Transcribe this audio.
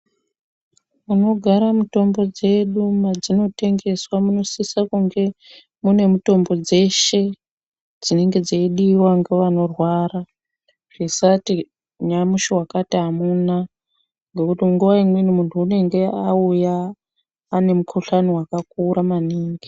Munogara mitombo dzedu mwedzinotengeswa munosisa kunga mune mitombo dzeshe dzinenge dzeidiwa ngevanorwara. Zvisati nyamushi wakati amuna ngekuti nguwa imweni muntu unenge auya ane mukhuhlani wakakura maningi.